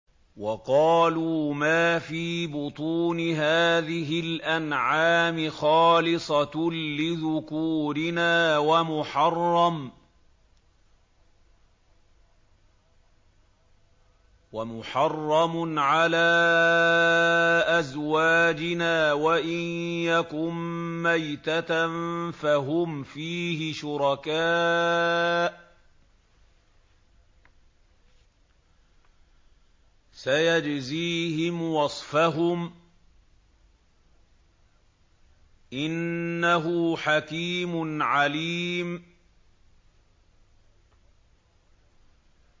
وَقَالُوا مَا فِي بُطُونِ هَٰذِهِ الْأَنْعَامِ خَالِصَةٌ لِّذُكُورِنَا وَمُحَرَّمٌ عَلَىٰ أَزْوَاجِنَا ۖ وَإِن يَكُن مَّيْتَةً فَهُمْ فِيهِ شُرَكَاءُ ۚ سَيَجْزِيهِمْ وَصْفَهُمْ ۚ إِنَّهُ حَكِيمٌ عَلِيمٌ